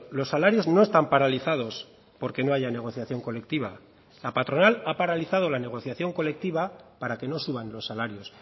los salarios no están paralizados porque no haya negociación colectiva la patronal ha paralizado la negociación colectiva para que no suban los salarios